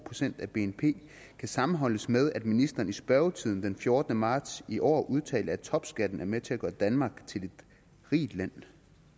procent af bnp kan sammenholdes med at ministeren i spørgetiden den fjortende marts i år udtalte at topskatten er med til at gøre danmark til et rigt land